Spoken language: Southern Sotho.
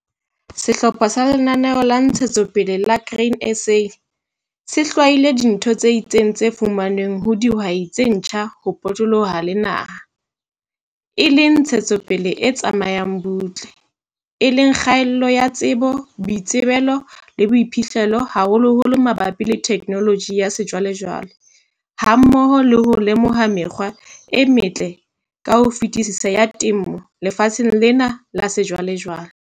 Sehlopha sa Lenaneo la Ntshetsopele la Grain SA se hlwaile dintho tse itseng tse fumanweng ho dihwai tse ntjha ho potoloha le naha, e leng ntshetsopele e tsamayang butle, e leng kgaello ya tsebo, boitsebelo le boiphihlelo haholoholo mabapi le theknoloji ya sejwalejwale hammoho le ho lemoha mekgwa e metle ka ho fetisisa ya temo lefatsheng lena la sejwalejwale.